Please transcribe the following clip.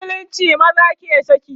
a musulunce maza ke saki